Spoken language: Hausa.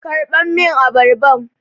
Karɓa min abarban!